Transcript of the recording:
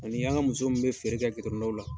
Ani an ga muso mun be feere kɛ la.